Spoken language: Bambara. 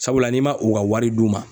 Sabula n'i ma u ka wari d'u ma